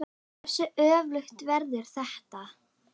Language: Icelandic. Hversu öflugt verður þetta?